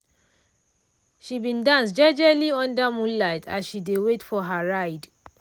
she bin dance jejely under moonlight as she dey wait for her ride.